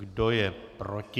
Kdo je proti?